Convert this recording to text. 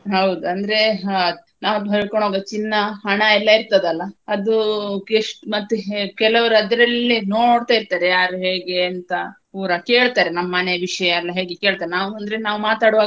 ಹೌದು ಅಂದ್ರೆ ಹಾ ನಾವ್ ಹಾಕೊಂಡು ಹೋಗೊ ಚಿನ್ನ, ಹಣ ಎಲ್ಲಾ ಇರ್ತದೆ ಅಲ್ಲಾ ಅದು ಕೆಲವ್ರು ಅದ್ರಲ್ಲೆ ನೋಡ್ತಾ ಇರ್ತಾರೆ ಯಾರು ಹೇಗೆ ಅಂತಾ ಪೂರಾ ಕೇಳ್ತಾರೆ ನಮ್ಮ ಮನೆ ವಿಷಯ ಎಲ್ಲಾ ಹೇಗೆ ಕೇಳ್ತಾರೆ ನಾವು ಅಂದ್ರೆ ನಾವ್ ಮಾತಾಡೋವಾಗ.